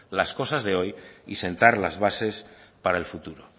las cosas de hoy y sentar las bases de para el futuro